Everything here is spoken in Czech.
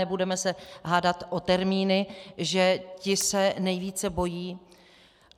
Nebudeme se hádat o termíny, že ti se nejvíce bojí.